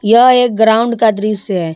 यह एक ग्राउंड का दृश्य है।